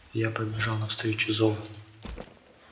я побежал навстречу зову